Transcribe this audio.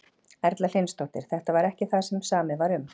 Erla Hlynsdóttir: Þetta er ekki það sem samið var um?